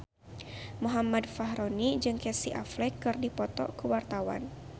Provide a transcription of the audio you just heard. Muhammad Fachroni jeung Casey Affleck keur dipoto ku wartawan